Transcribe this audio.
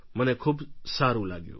મને ખૂબ સારું લાગ્યું